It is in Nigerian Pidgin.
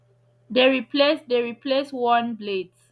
dey replace dey replace worn blades